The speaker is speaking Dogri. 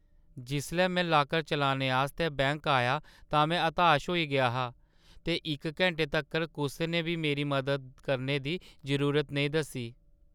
जिसलै में लाकर चलाने आस्तै बैंक आया तां में हताश होई गेआ हा ते इक घैंटे तक्कर कुसै ने बी मेरी मदद करने दी जरूरत नेईं दस्सी।